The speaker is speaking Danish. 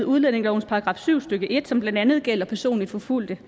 udlændingelovens § syv stykke en som blandt andet gælder personligt forfulgte